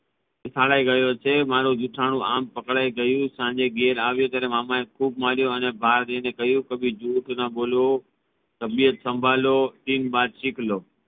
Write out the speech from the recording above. એ શાળા ગયો છે મારુ ઝુઠાનું આમ પકડાઈ ગયુ સાંજે ઘેર આવ્યો ત્યારે મામા એ ખૂબ માર્યો અને બાર જઈને કહ્યું કભી જહૂઠ ના બોલો તબિયત સાંભળો ટીન બાત સિખલો